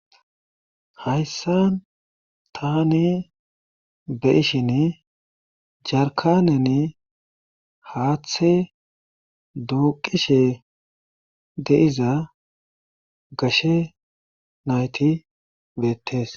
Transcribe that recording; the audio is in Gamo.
Hayssan taani be'ishin jarkaneni haaththe duuqishe de'iza gashe nayti beetees.